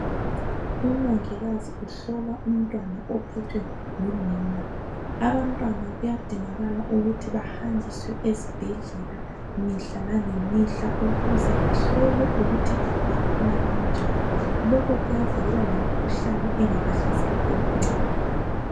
Umongikazi uhlola umntwana ophethwe ngunina abantwana kuyadingakala ukuthi bahanjiswe esibhedlela mihla langemihla ukuze bahlolwe ukuthi bakhula kanjani lokhu kuyavikela lemikhuhlane engabahlasela bebancane.